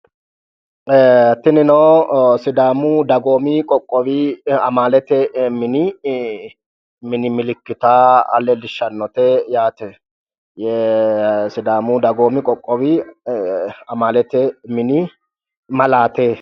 Tinino sidaamu dagoomi qoqqowi amalete mini milikita leelishshannote yaate sidaamu dagoomi qoqqowi amalete mini malaate